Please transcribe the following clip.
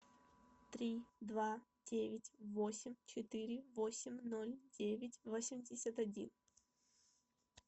три два девять восемь четыре восемь ноль девять восемьдесят один